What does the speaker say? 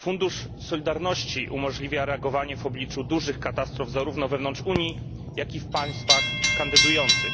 Fundusz Solidarności umożliwia reagowanie w obliczu dużych katastrof, zarówno wewnątrz Unii, jak i w państwach kandydujących.